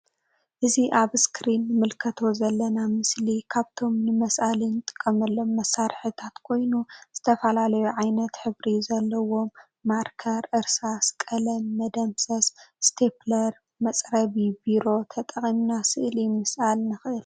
እዚ ኣብ ኣስክሪን እንምልከቶ ዘለና ምስሊ ካብቶም ንመስአሊ ንጥቀመሎም መሳርሕታት ኮይኑ ዝተፈላለዩ ዓይነት ሕብሪ ዘለዎም ማርከር እርሳስ ቀለም መሰምሰስ ስቲፕለር መጽረቢ ቤሮ ተጠቂምና ስእሊ ምስኣል ንክእል።